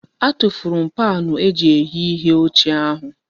Atufuru m paanụ eji eghe ihe ochie ahụ.